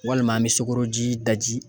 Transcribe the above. Walima an bɛ sukoroji daji.